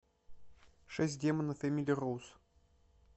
шесть демонов эмили роуз